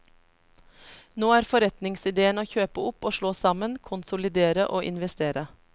Nå er forretningsideen å kjøpe opp og slå sammen, konsolidere og investere.